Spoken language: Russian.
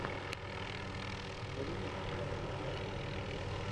балерины пятая часть